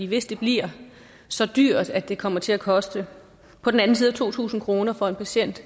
hvis det bliver så dyrt at det kommer til at koste på den anden side af to tusind kroner for en patient